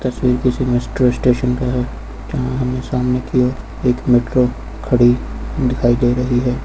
तस्वीर किसी मेस्टरों स्टेशन का है जहां हमें सामने की ओर एक मेट्रो खड़ी दिखाई दे रही है।